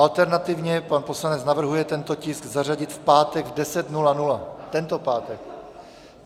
Alternativně pan poslanec navrhuje tento tisk zařadit v pátek v 10.00, tento pátek.